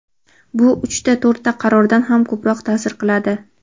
Bu uchta-to‘rtta qarordan ham ko‘proq taʼsir qiladi.